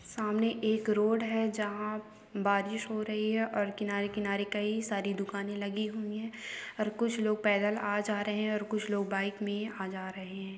सामने एक रोड है जाहा बारिश हो रही है और किनारे किनारे कई सारी दुकाने लागि हुई है और कुछ लोग पैदाल आ जा रहे है और कुछ लोग बाइक मे आ जा रहे है।